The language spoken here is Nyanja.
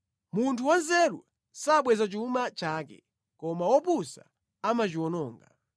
Munthu wanzeru samwaza chuma chake, koma wopusa amachiwononga.